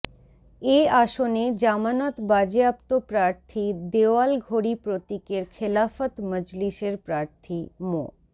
এ আসনে জামানত বাজেয়াপ্ত প্রার্থী দেওয়াল ঘড়ি প্রতীকের খেলাফত মজলিসের প্রার্থী মো